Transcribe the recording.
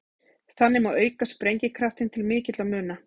Þannig má auka sprengikraftinn til mikilla muna.